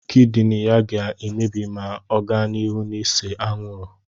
Kịdịnị ya ga-emebi ma ọ ga n'ihu n'ịse anwụrụ